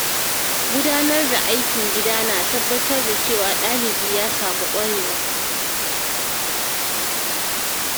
Gudanar da aikin gida na tabbatar da cewa ɗalibi ya samu ƙwarewa.